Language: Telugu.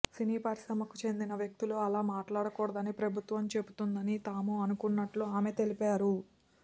సినీ పరిశ్రమకు చెందిన వ్యక్తులు అలా మాట్లాడకూడదని ప్రభుత్వం చెబుతుందని తాను అనుకుంటున్నట్లు ఆమె తెలిపారు